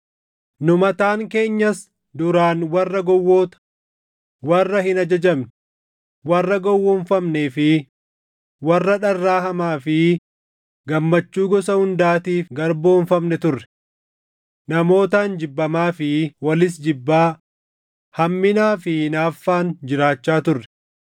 Nu mataan keenyas duraan warra gowwoota, warra hin ajajamne, warra gowwoomfamnee fi warra dharraa hamaa fi gammachuu gosa hundaatiif garboomfamne turre. Namootaan jibbamaa fi walis jibbaa, hamminaa fi hinaaffaan jiraachaa turre.